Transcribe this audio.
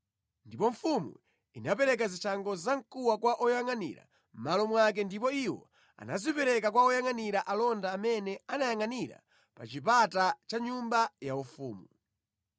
Ndipo mfumu inapereka zishango zamkuwa kwa oyangʼanira mʼmalo mwake ndipo iwo anazipereka kwa oyangʼanira alonda amene amayangʼanira pa chipata cha nyumba yaufumu.